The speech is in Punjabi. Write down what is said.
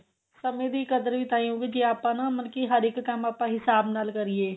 ਸਮੇ ਦੀ ਕਦਰ ਵੀ ਤਾਂਹੀ ਹੋਏਗੀ ਜੇ ਆਪਾਂ ਨਾ ਮਤਲਬ ਕੀ ਹਰ ਇੱਕ ਕੰਮ ਆਪਾਂ ਹਿਸਾਬ ਨਾਲ ਕਰੀਏ